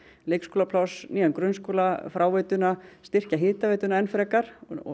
leikskólapláss nýjan grunnskóla fráveituna styrkja hitaveituna enn frekar